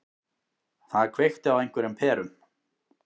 Það kveikti á einhverjum perum.